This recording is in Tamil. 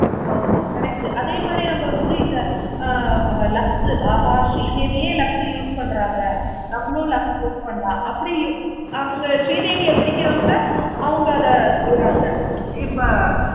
ஆமா correct உ அதே மாதிரி நம்ம வந்து இந்த lux உ இந்த மாதிரி ஆகா ஸ்ரீ தேவியே lux உ use பண்றாங்க. நம்மாளு lux use பண்ணலாம். அப்படின்னு அவங்க ஸ்ரீதேவியை பிடிக்கிறவங்க அவங்க அங்க போறாங்க. இப்ப